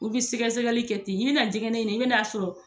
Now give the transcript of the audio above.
U bi sɛgɛsɛgɛli kɛ ten, i be na dɛgɛnɛ ɲini i bi na sɔrɔ